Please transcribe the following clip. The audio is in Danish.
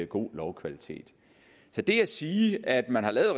god lovkvalitet så det at sige at man har lavet